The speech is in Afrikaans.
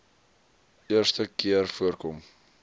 eerste keer voorkom